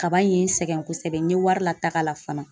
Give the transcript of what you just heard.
Kaba in ye n sɛgɛn kosɛbɛ n ye wari lataga la fana .